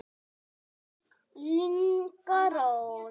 Inga Rós.